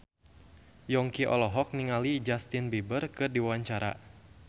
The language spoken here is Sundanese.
Yongki olohok ningali Justin Beiber keur diwawancara